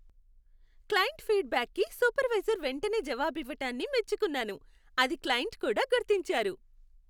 Client ఫీడ్ బ్యాక్కి supervisor వెంటనే జవాబివ్వటాన్ని మెచ్చుకున్నాను, అది క్లయింట్ కూడా గుర్తించారు.